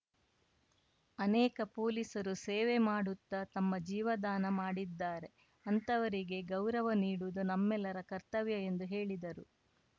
ಅನೇಕ ಪೊಲೀಸರು ಸೇವೆ ಮಾಡುತ್ತಾ ತಮ್ಮ ಜೀವದಾನ ಮಾಡಿದ್ದಾರೆ ಅಂತಹವರಿಗೆ ಗೌರವ ನೀಡುವುದು ನಮ್ಮೆಲ್ಲರ ಕರ್ತವ್ಯ ಎಂದು ಹೇಳಿದರು